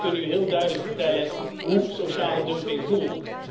Zij kunnen u heel duidelijk vertellen hoe sociale dumping voelt.